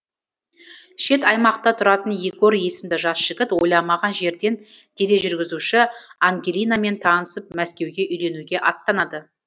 шет аймақта тұратын егор есімді жас жігіт ойламаған жерден тележүргізуші ангелинамен танысып мәскеуге үйленуге аттанады